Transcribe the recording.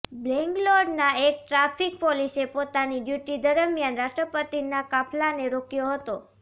બેંગ્લોરના એક ટ્રાફિક પોલીસે પોતાની ડ્યૂટી દરમિયાન રાષ્ટ્રપતિના કાફલાને રોક્યો હતો